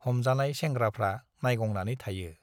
हमजानाय सेंग्राफ्रा नाइगंनानै थायो।